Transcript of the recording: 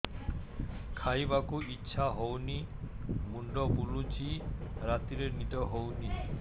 ଖାଇବାକୁ ଇଛା ହଉନି ମୁଣ୍ଡ ବୁଲୁଚି ରାତିରେ ନିଦ ହଉନି